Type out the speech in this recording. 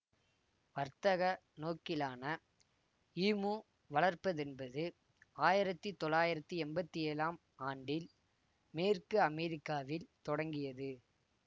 வர்த்தக நோக்கிலான ஈமு வளர்ப்பதென்பது ஆயிரத்தி தொள்ளாயிரத்தி எம்பத்தி ஏழாம் ஆண்டில் மேற்கு அமெரிக்காவில் தொடங்கியது